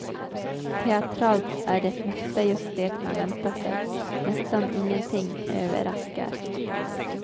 Teatralt är det mesta just det man väntar sig, nästan ingenting överraskar.